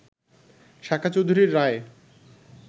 সাকা চৌধুরীর রায়